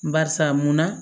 Barisa mun na